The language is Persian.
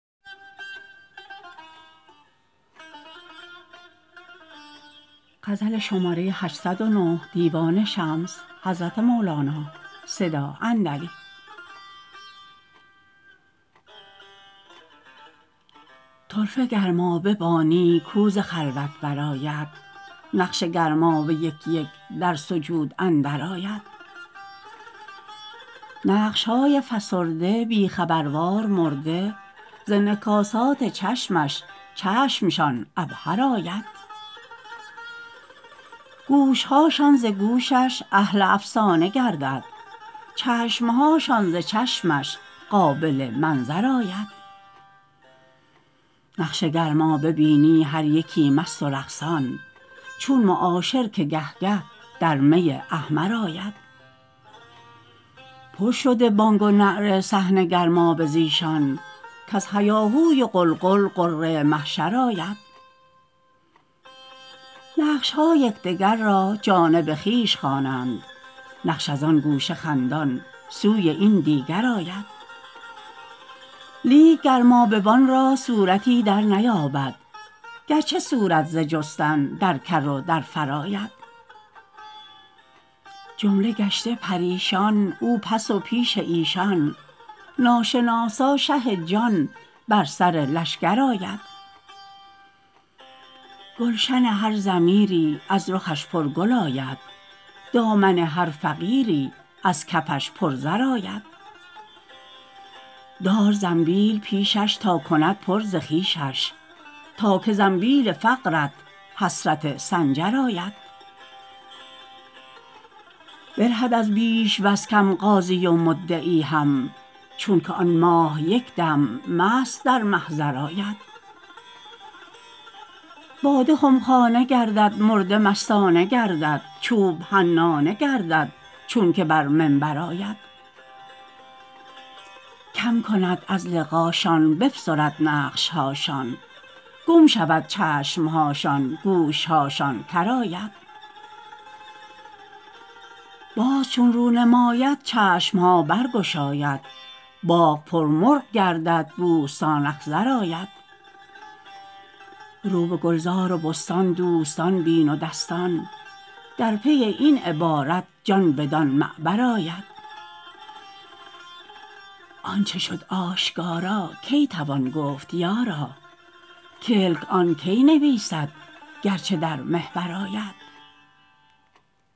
طرفه گرمابه بانی کو ز خلوت برآید نقش گرمابه یک یک در سجود اندرآید نقش های فسرده بی خبروار مرده ز انعکاسات چشمش چشمشان عبهر آید گوش هاشان ز گوشش اهل افسانه گردد چشم هاشان ز چشمش قابل منظر آید نقش گرمابه بینی هر یکی مست و رقصان چون معاشر که گه گه در می احمر آید پر شده بانگ و نعره صحن گرمابه ز ایشان کز هیاهوی و غلغل غره محشر آید نقش ها یک دگر را جانب خویش خوانند نقش از آن گوشه خندان سوی این دیگر آید لیک گرمابه بان را صورتی درنیابد گرچه صورت ز جستن در کر و در فر آید جمله گشته پریشان او پس و پیش ایشان ناشناسا شه جان بر سر لشکر آید گلشن هر ضمیری از رخش پرگل آید دامن هر فقیری از کفش پرزر آید دار زنبیل پیشش تا کند پر ز خویشش تا که زنبیل فقرت حسرت سنجر آید برهد از بیش وز کم قاضی و مدعی هم چونک آن ماه یک دم مست در محضر آید باده خمخانه گردد مرده مستانه گردد چوب حنانه گردد چونک بر منبر آید کم کند از لقاشان بفسرد نقش هاشان گم شود چشم هاشان گوش هاشان کر آید باز چون رو نماید چشم ها برگشاید باغ پرمرغ گردد بوستان اخضر آید رو به گلزار و بستان دوستان بین و دستان در پی این عبارت جان بدان معبر آید آنچ شد آشکارا کی توان گفت یارا کلک آن کی نویسد گرچه در محبر آید